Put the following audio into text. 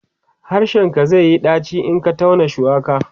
harshen ka zaiyi ɗaci in Ka tauna shuwaka